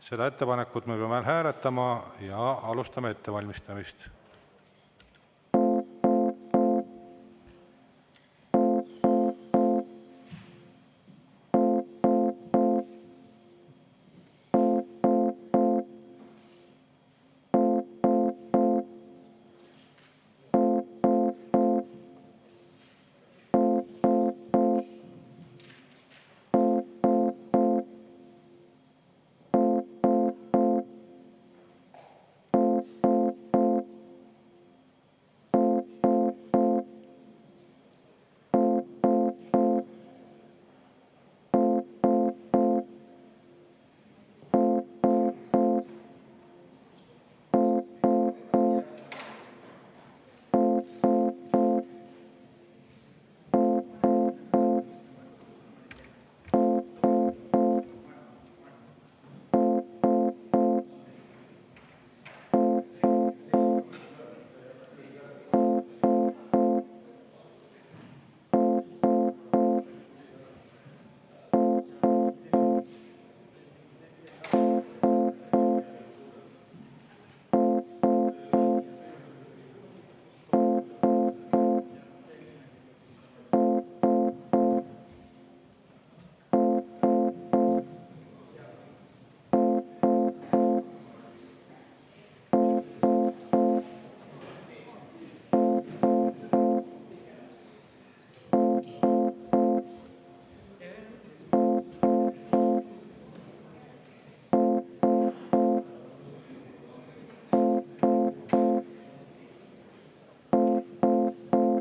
Seda ettepanekut me peame hääletama ja alustame ettevalmistamist.